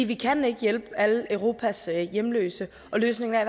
vi kan ikke hjælpe alle europas hjemløse og løsningen er